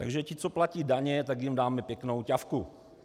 - Takže ti, co platí daně, tak jim dáme pěknou ťafku.